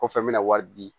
Kɔfɛ n bɛna wari di